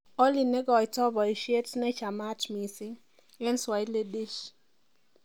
olly neigoito boishiet nechemat missing en swahili dish